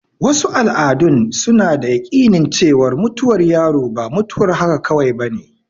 Wasu al'adun suna da yaƙinin cewar mutuwar yaro ba mutuwar haka kawai bane.